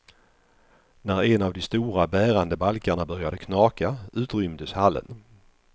När en av de stora bärande balkarna började knaka utrymdes hallen.